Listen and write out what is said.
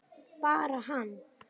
Bara hann?